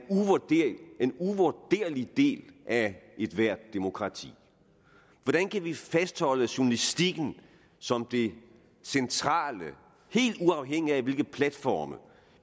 uvurderlig del af ethvert demokrati hvordan kan vi fastholde journalistikken som det centrale helt uafhængigt af hvilke platforme